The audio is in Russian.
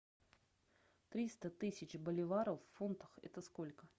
триста тысяч боливаров в фунтах это сколько